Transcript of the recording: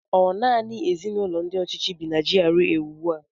Ọ nanị ezinụlọ ndị ọchịchị bị na GRA ugbu a?